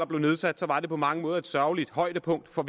blev nedsat var det på mange måder et sørgeligt højdepunkt for